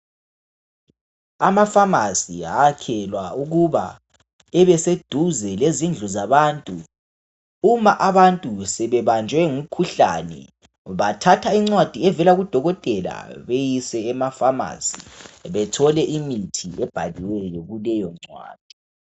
Ama pharmacy ayakhelwa ukuba abeseduze lezindlu zabantu. Uma abantu sebebanjwe yimikhuhlane bathatha incwadi evela kudokotela beyise ema pharmacy bethole imithi ebhaliweyo kuleyo ncwadi